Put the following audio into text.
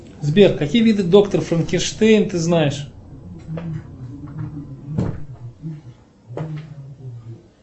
сбер какие виды доктор франкенштейн ты знаешь